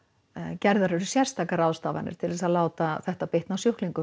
gerðar eru sérstakar til að láta það bitna á sjúklingum